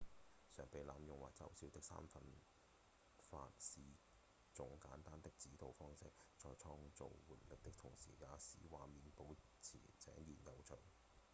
常被濫用和嘲笑的三分法是種簡單的指導方針在創造活力的同時也使畫面保持井然有序